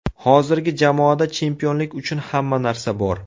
Hozirgi jamoada chempionlik uchun hamma narsa bor.